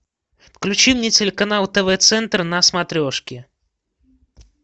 включи мне телеканал тв центр на смотрешке